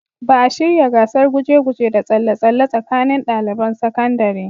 Ba a shirya gasar guje-guje da tsalle-tsalle tsakanin daliban sakandare.